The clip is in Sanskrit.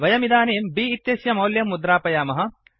वयमिदानीं बि इत्यस्य मौल्यं मुद्रापयामः